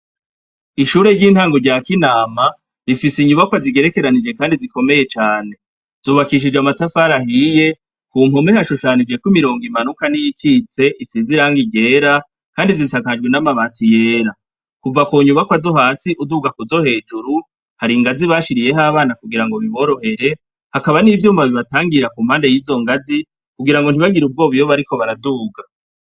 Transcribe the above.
Ishure ry'intango rya kinama, rifis' inyubako nziza kand'ikomeye cane, zubakishij'amatafar'ahiye, kumpande hashushanyijek'imirong'imanuka niyikits'isiz'irangi ryera, kandi zisakajwe n'amabati yera. Kuva kunyubako zo has'uduga kuzo hejuru, har'ingazi bashiriyeh'abana kugira biborohere, hakaba n'ivyuma bibatangira kurizo ngazi, kugira ntibagir'ubwoba bariko baraduga.